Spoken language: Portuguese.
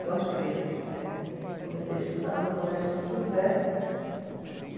Com as freiras, é. Comecei a estudar no Colégio São José e